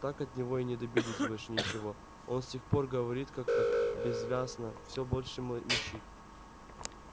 так от него и не добились больше ничего он с тех пор говорит как-то бессвязно все больше мычит